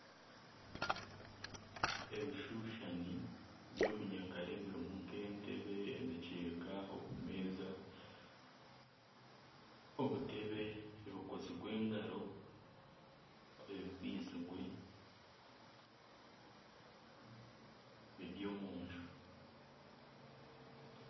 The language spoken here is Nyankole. Ebishushani by'obunyakare birimu nk'entebe emikyeka obumeeza, obutebe ebikozirwe engaro, ebibaizirwe eby'omu nju.